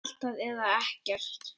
Allt eða ekkert.